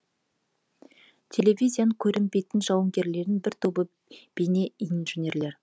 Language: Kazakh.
телевизияның көрінбейтін жауынгерлерінің бір тобы бейнеинженерлер